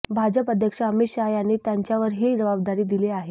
भाजप अध्यक्ष अमित शहा यांनी त्यांच्यावर हि जबाबदारी दिली आहे